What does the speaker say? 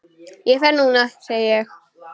Ég fer núna, segi ég.